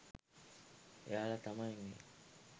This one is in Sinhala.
එයාල තමයි මේ